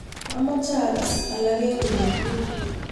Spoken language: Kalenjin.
amoje agas alak en ureryet